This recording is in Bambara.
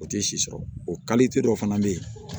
O tɛ si sɔrɔ o dɔ fana bɛ yen